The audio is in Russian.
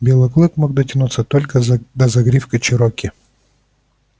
белый клык мог дотянуться только до загривка чероки